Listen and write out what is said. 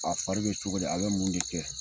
fa a fari bɛ cogo di? A bɛ mun de kɛ?